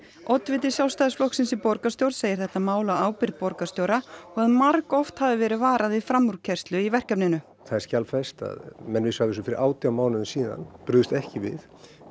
oddviti Sjálfstæðisflokksins í borgarstjórn segir þetta mál á ábyrgð borgarstjóra og að margoft hafi verið varað við framúrkeyrslu í verkefninu það er skjalfest að menn vissu af þessu fyrir átján mánuðum síðan og brugðust ekki við